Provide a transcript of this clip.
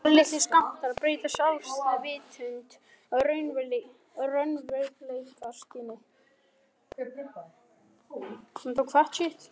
Örlitlir skammtar breyta sjálfsvitund og raunveruleikaskyni.